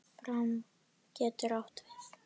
Fram getur átt við